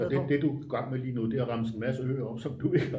så det du er i gang med nu er at remse en masse øger op som du ikke har været